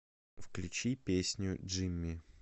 включи песню джимми